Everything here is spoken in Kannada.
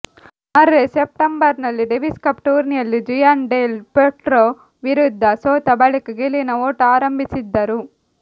ಮರ್ರೆ ಸೆಪ್ಟಂಬರ್ನಲ್ಲಿ ಡೇವಿಸ್ಕಪ್ ಟೂರ್ನಿಯಲ್ಲಿ ಜುಯಾನ್ ಡೆಲ್ ಪೊಟ್ರೊ ವಿರುದ್ಧ ಸೋತ ಬಳಿಕ ಗೆಲುವಿನ ಓಟ ಆರಂಭಿಸಿದ್ದರು